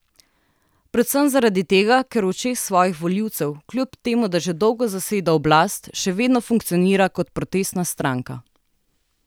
Predvsem zaradi tega, ker v očeh svojih volivcev, kljub temu da že dolgo zaseda oblast, še vedno funkcionira kot protestna stranka.